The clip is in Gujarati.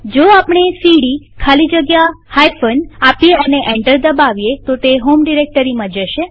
જો આપણે સીડી ખાલી જગ્યા બાદબાકીનું ચિહ્ન આપીએ અને એન્ટર દબાવીએ તો તે હોમ ડિરેક્ટરીમાં જશે